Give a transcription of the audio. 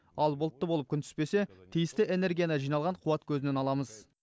ал бұлтты болып күн түспесе тиісті энергияны жиналған қуат көзінен аламыз